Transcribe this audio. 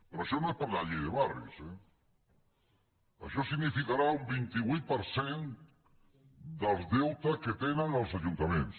però això no és per la llei de barris eh això significarà un vint vuit per cent dels deutes que tenen els ajuntaments